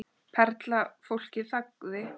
Perla Fólkið þagði.